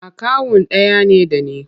Akawun ɗaya ne da ni.